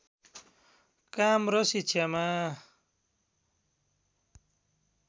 काम र शिक्षामा